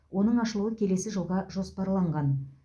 оның ашылуы келесі жылға жоспарланған